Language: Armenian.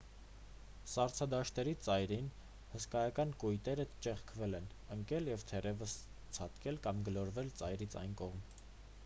սառցադաշտերի ծայրին հսկայական կույտերը ճեղքվել են ընկել և թերևս ցատկել կամ գլորվել ծայրից այն կողմ